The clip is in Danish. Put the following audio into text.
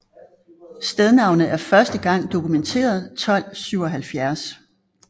Stednavnet er første gang dokumenteret 1277